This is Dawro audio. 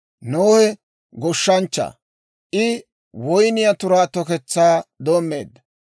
Nohe goshshanchcha; I woyniyaa turaa toketsaa doommeedda.